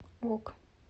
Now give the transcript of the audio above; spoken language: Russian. ок